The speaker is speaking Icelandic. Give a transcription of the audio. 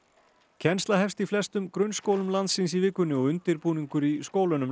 kennsla hefst í flestum grunnskólum landsins í vikunni og undirbúningur í skólunum